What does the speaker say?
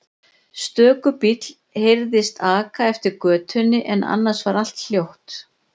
Stöku bíll heyrðist aka eftir götunni en annars var allt hljótt.